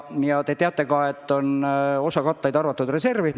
Küllap te teate ka, et osa katlaid on arvatud reservi.